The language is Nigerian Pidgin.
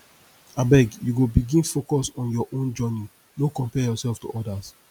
abeg you go begin focus on your own journey no compare yourself to odas